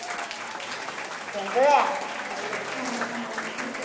Gengur vel?